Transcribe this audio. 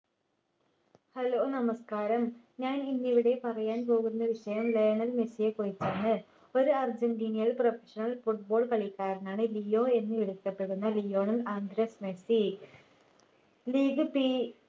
hello നമസ്‌കാരം ഞാൻ ഇന്ന് ഇവിടെ പറയാൻ പോകുന്ന വിഷയം ലയണൽ മെസ്സിയെ കുറിച്ചാണ് ഒരു അർജന്റീനിയൻ professional football കളിക്കാരനാണ് ലിയോ എന്ന് വിളിക്കപ്പെടുന്ന Lionel Andres Messi league P